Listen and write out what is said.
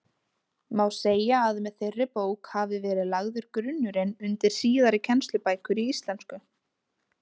Má segja að með þeirri bók hafi verið lagður grunnurinn undir síðari kennslubækur í íslensku.